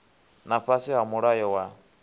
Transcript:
nga fhasi ha mulayo wa